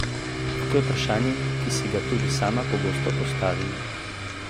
To je vprašanje, ki si ga tudi sama pogosto postavim.